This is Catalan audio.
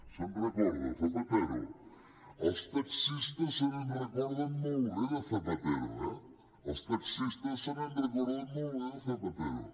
se’n recorda de zapatero els taxistes es recorden molt bé de zapatero eh els taxistes es recorden molt bé de zapatero